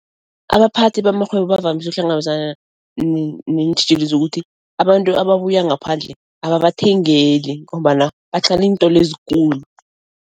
Abaphathi bamarhwebo bavamise ukuhlangabezana neentjhijilo zokuthi abantu ababuya ngaphandle ababathengeli ngombana iintolo ezikulu.